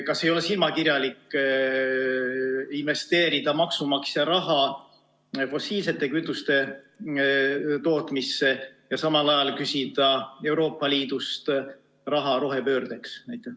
Kas ei ole silmakirjalik investeerida maksumaksja raha fossiilsete kütuste tootmisse ja samal ajal küsida Euroopa Liidust raha rohepöördeks?